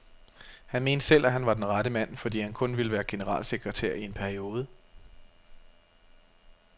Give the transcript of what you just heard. Han mente selv, at han var den rette mand, fordi han kun ville være generalsekretær i en periode.